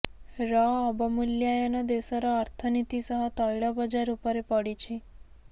ର ଅବମୂଲ୍ୟାୟନ ଦେଶର ଅର୍ଥନୀତି ସହ ତୈଳ ବଜାର ଉପରେ ପଡିଛି